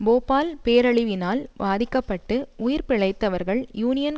போபால் பேரழிவினால் பாதிக்க பட்டு உயிர் பிழைத்தவர்கள் யூனியன்